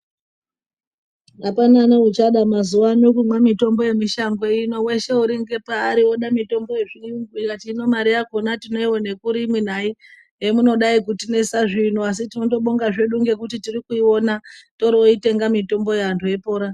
Apana neuchada mazuvano kumwa mitombo yemushango ino weshe uri ngepaari oda mitombo yezviyungu ndikati hino mari yakona tinoione kuri imwi nayi